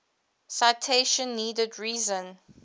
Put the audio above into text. citation needed reason